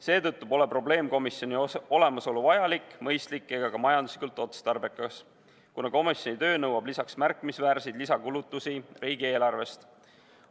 Seetõttu pole probleemkomisjoni olemasolu vajalik, mõistlik ega ka majanduslikult otstarbekas, kuna komisjoni töö nõuab märkimisväärseid lisakulutusi riigieelarvest.